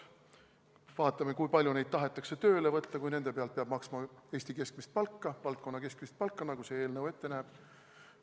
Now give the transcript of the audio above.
Vaatame, kui palju neid tahetakse tööle võtta, kui nende pealt peab maksma Eestis valdkonna keskmist palka, nagu see eelnõu ette näeb.